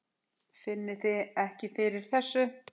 Finnið þið ekki fyrir þessu?